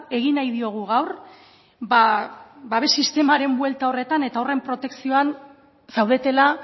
egin nahi diogu gaur babes sistemaren buelta horretan eta horren protekzioan zaudetela